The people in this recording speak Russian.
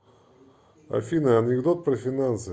афина анекдот про финансы